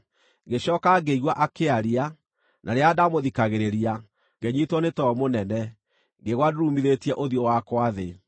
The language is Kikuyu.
Ngĩcooka ngĩigua akĩaria, na rĩrĩa ndamũthikagĩrĩria, ngĩnyiitwo nĩ toro mũnene, ngĩgwa ndurumithĩtie ũthiũ wakwa thĩ.